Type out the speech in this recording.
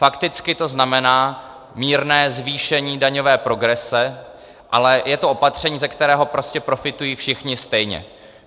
Fakticky to znamená mírné zvýšen daňové progrese, ale je to opatření, ze kterého prostě profitují všichni stejně.